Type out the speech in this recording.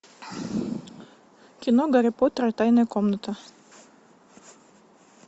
кино гарри поттер и тайная комната